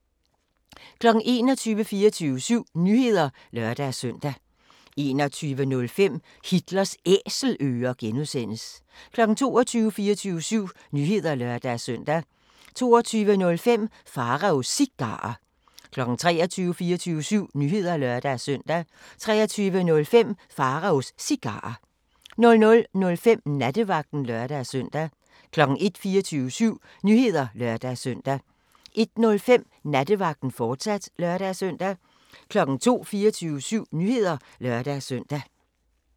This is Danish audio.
21:00: 24syv Nyheder (lør-søn) 21:05: Hitlers Æselører (G) 22:00: 24syv Nyheder (lør-søn) 22:05: Pharaos Cigarer 23:00: 24syv Nyheder (lør-søn) 23:05: Pharaos Cigarer 00:05: Nattevagten (lør-søn) 01:00: 24syv Nyheder (lør-søn) 01:05: Nattevagten, fortsat (lør-søn) 02:00: 24syv Nyheder (lør-søn)